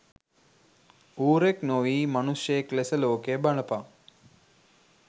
ඌරෙක් නොවී මනුශ්‍යයෙක් ලෙස ලෝකය බලපන්